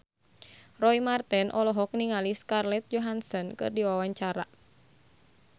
Roy Marten olohok ningali Scarlett Johansson keur diwawancara